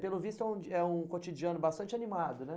Pelo visto é um é um cotidiano bastante animado, né?